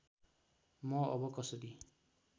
म अब कसरी